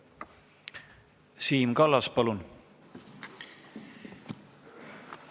Siim Kallas, palun!